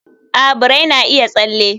a, birai na iya tsalle